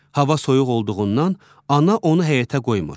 Hava soyuq olduğundan ana onu həyətə qoymur.